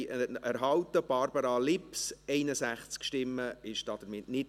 Herr Bürki, darf ich Sie bitten, sich mir zuzuwenden?